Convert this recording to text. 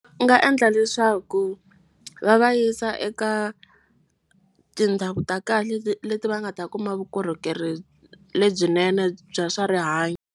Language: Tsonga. U nga endla leswaku va va yisa eka tindhawu ta kahle leti va nga ta kuma vukorhokeri lebyinene bya swa rihanyo.